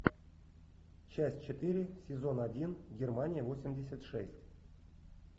часть четыре сезон один германия восемьдесят шесть